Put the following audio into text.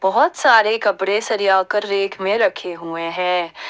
बहोत सारे कपड़े सरिया कर रैक में रखे हुए हैं।